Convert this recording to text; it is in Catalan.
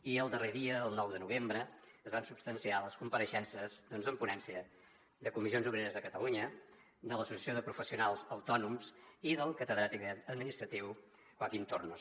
i el darrer dia el nou de novembre es van substanciar les compareixences doncs en ponència de comissions obreres de catalunya de l’associació de professionals autònoms i del catedràtic de dret administratiu joaquín tornos